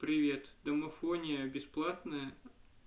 привет домофония бесплатная